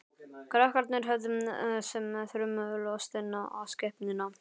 Krakkarnir horfðu sem þrumulostin á skepnuna.